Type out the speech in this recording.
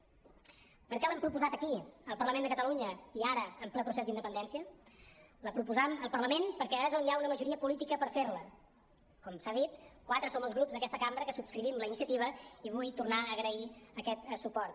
per què l’hem proposat aquí al parlament de catalunya i ara en ple procés d’independència la proposam al parlament perquè és on hi ha una majoria política per fer la com s’ha dit quatre som els grups d’aquesta cambra que subscrivim la iniciativa i vull tornar a agrair aquest suport